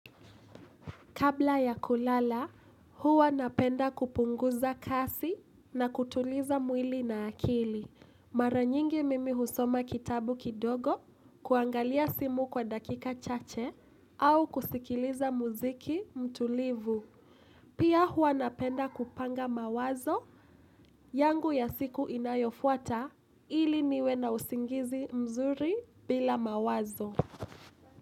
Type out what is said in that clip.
Kabla ya kulala, huwa napenda kupunguza kasi na kutuliza mwili na akili. Mara nyingi mimi husoma kitabu kidogo, kuangalia simu kwa dakika chache au kusikiliza muziki mtulivu. Pia huwa napenda kupanga mawazo yangu ya siku inayofuata ili niwe na usingizi mzuri bila mawazo.